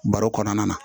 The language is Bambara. Baro kɔnɔna na